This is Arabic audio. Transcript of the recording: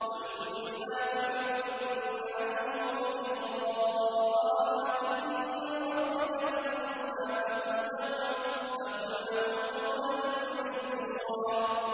وَإِمَّا تُعْرِضَنَّ عَنْهُمُ ابْتِغَاءَ رَحْمَةٍ مِّن رَّبِّكَ تَرْجُوهَا فَقُل لَّهُمْ قَوْلًا مَّيْسُورًا